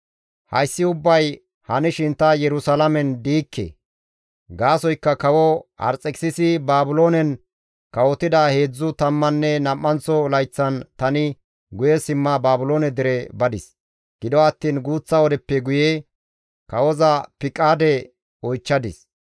Hayssi ubbay hanishin ta Yerusalaamen diikke; gaasoykka kawo Arxekisisi Baabiloonen kawotida heedzdzu tammanne nam7anththo layththan tani guye simma Baabiloone dere badis; gido attiin guuththa wodeppe guye kawoza piqaade oychchadis;